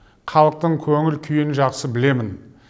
халықтың көңіл күйін жақсы білемін